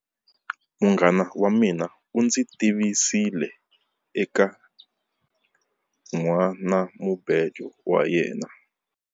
Munghana wa mina u ndzi tivisile eka nhwanamubejo wa yena.